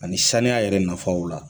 Ani saniya yɛrɛ nafaw la